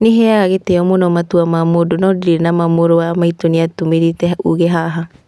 "Nĩheaga gĩtĩo mũno matua ma mũndũ no ndirĩ nama mũru wa maitũ nĩatũmĩrĩte ũũgĩ haha.